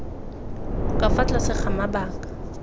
ka fa tlase ga mabaka